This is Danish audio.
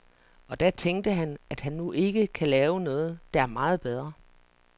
Og da tænkte han, at han nu ikke kan lave noget der er meget bedre.